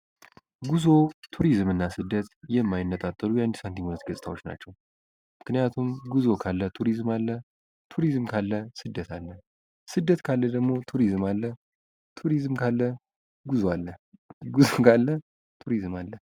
ጉዞ ቱሪዝምና ስደት የማይነጣጠሉ የአንድ ሳንቲም ሁለት ገጽታዎች ናቸው። ምክንያቱም ጉዞ ካለ ቱሪዝም አለ ፤ ቱሪዝም ካለ ስደት አለ ፤ ስደት ካለ ደሞ ቱሪዝም አለ ፤ ቱሪዝም ካለ ጉዞ አለ ፤ ጉዞ ካለ ቱሪዝም አለ።